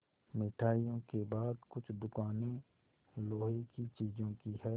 मिठाइयों के बाद कुछ दुकानें लोहे की चीज़ों की हैं